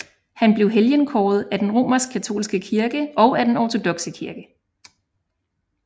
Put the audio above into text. Han blev helgenkåret af den romerskkatolske kirke og af den ortodokse kirke